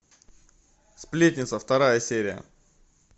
сплетница вторая серия